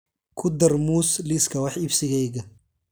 ku dar muus liiska wax iibsigayga